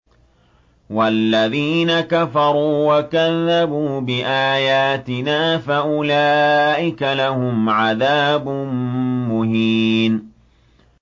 وَالَّذِينَ كَفَرُوا وَكَذَّبُوا بِآيَاتِنَا فَأُولَٰئِكَ لَهُمْ عَذَابٌ مُّهِينٌ